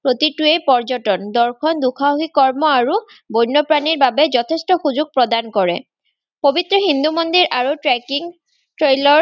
প্ৰতিটোৱেই পৰ্য্যতন। দৰ্শন, দুসাহসিক কৰ্ম আৰু বন্যপ্ৰাণীৰবাবে যথেষ্ট সুযোগ প্ৰদান কৰে। পবিত্ৰ হিন্দু মন্দিৰ আৰু trekking trailor